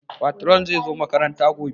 Patron zai zo makaranta gobe